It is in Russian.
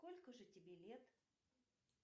сколько же тебе лет